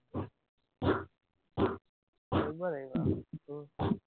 কৰিব লাগিব আও উম